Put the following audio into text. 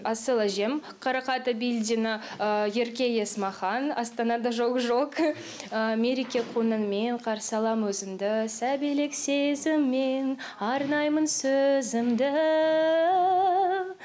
асыл әжем қаракат абилдина ерке есмахан астанада жок жок мереке конылмен қарсы алам өзіңді сәбилік сезіммен арнаймын сөзімді